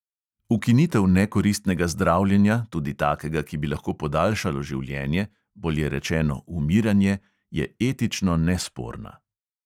Ukinitev nekoristnega zdravljenja, tudi takega, ki bi lahko podaljšalo življenje, bolje rečeno, umiranje, je etično nesporna.